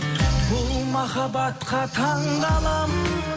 бұл махабатқа таңқаламын